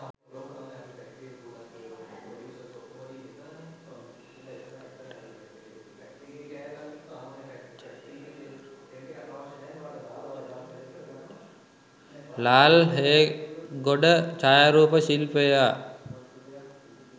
lal hegoda chayaroopa shilpaya